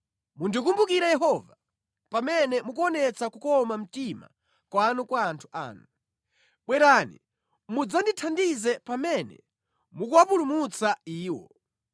Mundikumbukire Yehova, pamene mukuonetsa kukoma mtima kwanu kwa anthu anu, bwerani mudzandithandize pamene mukuwapulumutsa iwo,